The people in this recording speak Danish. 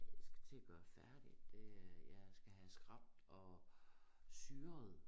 Jeg skal til at gøre færdig det er jeg skal have skrapet og syret